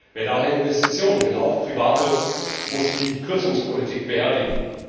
Wer daher Investitionen will auch private muss die Kürzungspolitik beerdigen.